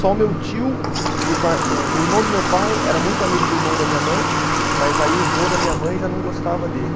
Só o meu tio, por par, o irmão do meu pai era muito amigo do irmão da minha mãe, mas aí o vô da minha mãe já não gostava dele.